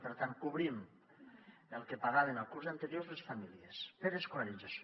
per tant cobrim el que pagaven el curs anterior les famílies per escolarització